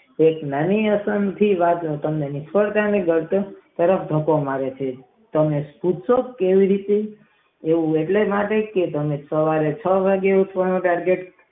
એક નાની એવી વાત કાવ તરત ખોંકો મારે છે તેને પુચ તો કેવી રીતે તે સવારે વેલા છ વાગે નો આલારામ મૂકી દે છે.